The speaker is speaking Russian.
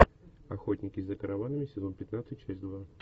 охотники за караванами сезон пятнадцать часть два